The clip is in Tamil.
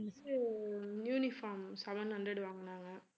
uniform seven hundred வாங்கனாங்க